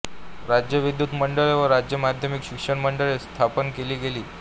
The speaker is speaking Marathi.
राज्य विद्युत मंडळे व राज्य माध्यमिक शिक्षण मंडळे स्थापन केली गेली